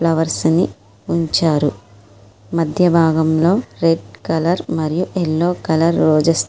Flowers ని ఉంచారు. మధ్య భాగంలో రెడ్ కలర్ మరియు యెల్లో కలర్ రోసెస్ --